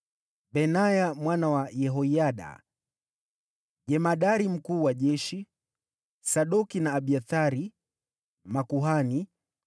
Benaya mwana wa Yehoyada: jemadari mkuu wa jeshi; Sadoki na Abiathari: makuhani;